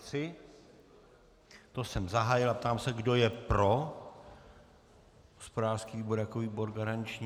To jsem zahájil a ptám se, kdo je pro hospodářský výbor jako výbor garanční.